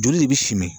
Joli de bɛ simɛ